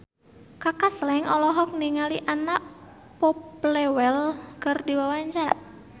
Kaka Slank olohok ningali Anna Popplewell keur diwawancara